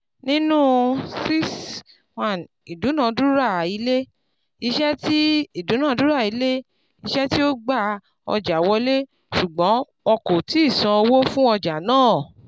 nínú ( six / one )ìdúnadúràilé-isé tí / one )ìdúnadúràilé-isé tí gba ọjà wọlé ṣùgbọ́n wọn kò tíì san owó fún ọjà náà